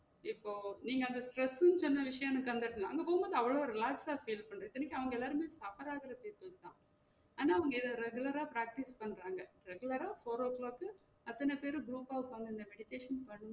இப்போ நீங்க அந்த stress ன்னு சொன்ன விஷயம் எனக்கு வந்தப்போ அங்க வந்து அவ்ளோ relax ஆ feel இத்தனைக்கு அவங்க எல்லாருமே ஆனா அவங்க எல்~ regular ஆ practice பண்றாங்க regular ஆ four O clock க்கு அத்தன பேரும் group ஆ உக்காந்து இந்த meditation பண்~